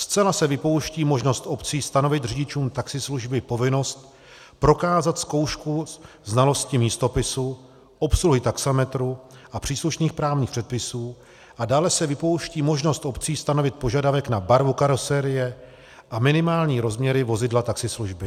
Zcela se vypouští možnost obcí stanovit řidičům taxislužby povinnost prokázat zkoušku znalosti místopisu, obsluhy taxametru a příslušných právních předpisů a dále se vypouští možnost obcí stanovit požadavek na barvu karoserie a minimální rozměry vozidla taxislužby.